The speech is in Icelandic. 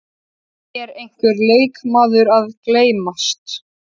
Er einhver leikmaður að gleymast?